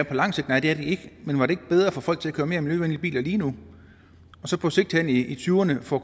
på lang sigt nej det er det ikke men var det ikke bedre at få folk til at køre mere miljøvenlige biler lige nu og så på sigt hen i tyverne få